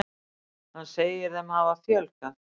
Hann segir þeim hafa fjölgað.